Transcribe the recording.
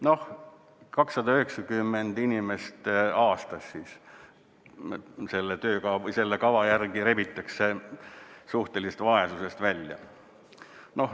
Noh, 290 inimest aastas siis selle kava järgi rebitakse suhtelisest vaesusest välja.